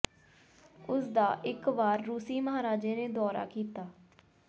ਉਸ ਦਾ ਇਕ ਵਾਰ ਰੂਸੀ ਮਹਾਰਾਜੇ ਨੇ ਦੌਰਾ ਕੀਤਾ